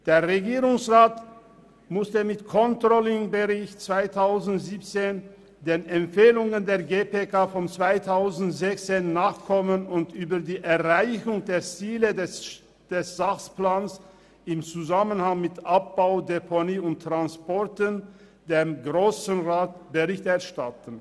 Der Regierungsrat musste mit dem ControllingBericht 2017 den Empfehlungen der GPK aus dem Jahr 2016 nachkommen und dem Grossen Rat über die Erreichung der Ziele des Sachplans im Zusammenhang mit ADT Bericht erstatten.